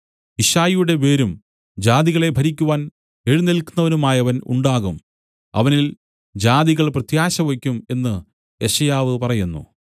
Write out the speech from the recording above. യിശ്ശായിയുടെ വേരും ജാതികളെ ഭരിക്കുവാൻ എഴുന്നേല്ക്കുന്നവനുമായവൻ ഉണ്ടാകും അവനിൽ ജാതികൾ പ്രത്യാശവെയ്ക്കും എന്നു യെശയ്യാവു പറയുന്നു